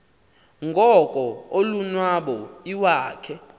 ngoko ulonwabo iwakhe